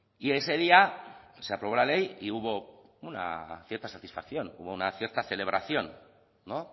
y ese día se aprobó la ley y hubo una cierta satisfacción hubo una cierta celebración no